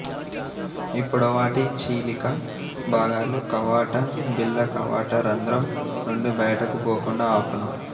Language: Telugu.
ఈ పొడవాటి చీలిక భాగాలు కవాట బిళ్ళ కవాట రంధ్రం నుండి బయటకు పోకుండా ఆపును